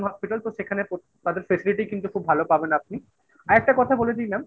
সেখানে তাদের facility কিন্তু খুব ভালো পাবেন আপনি। আরেকটা কথা বলে দি mam